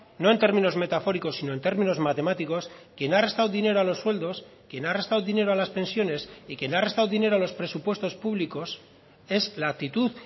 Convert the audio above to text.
no en términos metafóricos sino en términos matemáticos quien ha restado dinero a los sueldos quien ha restado dinero a las pensiones y quien ha restado dinero a los presupuestos públicos es la actitud